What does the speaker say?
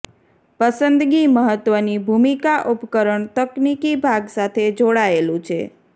પસંદગી મહત્વની ભૂમિકા ઉપકરણ તકનીકી ભાગ સાથે જોડાયેલું છે